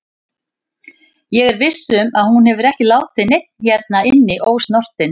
Ég er viss um að hún hefur ekki látið neinn hérna inni ósnortinn.